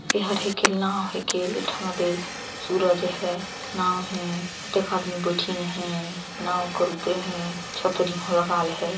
एहर एकेल नाव हे के लिठा दें सूरज है नाव है अतेक आदमी बैठिन है नाव कर उपरे हे छतरी घलो लगाल है।